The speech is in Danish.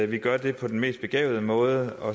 vi gør det på den mest begavede måde